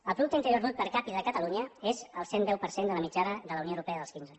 el producte interior brut per capita de catalunya és el cent i deu per cent de la mitjana de la unió europea dels quinze